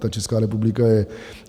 Ta Česká republika je...